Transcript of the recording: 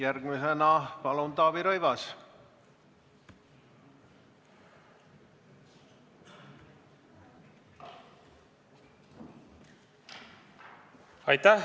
Järgmisena palun Taavi Rõivas!